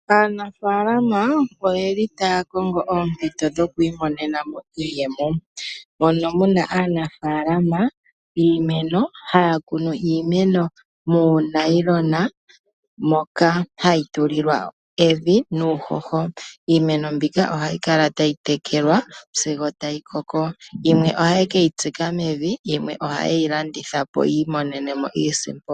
Aanafaalama oyeli taya kongo oompito dhokwiimonena mo iiyemo, mono muna aanafaalama yiimeno haya kunu iimeno moonayilona moka hayi tulilwa evi nuuhoho. Iimeno mbika ohayi kala tayi tekelwa sigo tayi koko, yimwe ohaye keyi tsika mevi, yimwe ohaye yi landitha po yi imonene mo iisimpo.